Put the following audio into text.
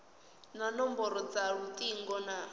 na nomboro dza lutingo na